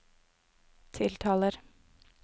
tiltaler